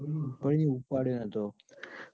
ઉપાડ્યો નતો.